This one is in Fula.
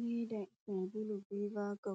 Viiva, saabulu viiva ɓe